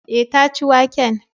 Eh, ta ci waken